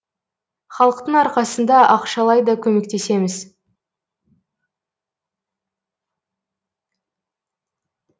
халықтың арқасында ақшалай да көмектесеміз